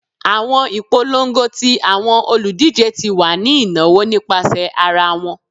Awọn ipolongo ti awọn oludije ti wa ni inawo nipasẹ ara wọn